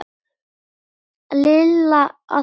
Lilla að Kötu.